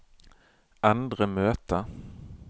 endre møte